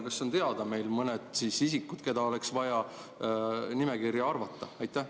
Kas on teada mõned isikud, keda oleks vaja nimekirja arvata?